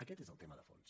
aquest és el tema de fons